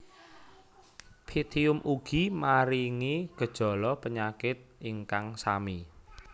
Pythium ugi maringi gejala penyakit ingkang sami